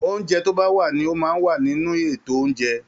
Oúnjẹ tó bá wà ní o máa n wà nínú ito oúnjẹ.